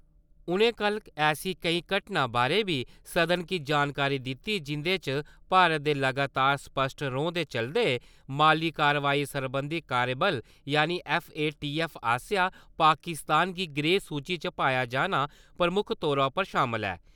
उ'नें कल ऐसी केईं घटना बारै बी सदन गी जानकारी दित्ती, जिंदे च भारत दे लगातार स्पश्ट रौंह् दे चलदे माली कार्रवाई सरबंधी कार्यबल यानि ऐफ्फ.ए.टी.ऐफ्फ. आसेआ पाकिस्तान गी ग्रे-सूची च पाया जाना प्रमुक्ख तौर उप्पर शामल ऐ ।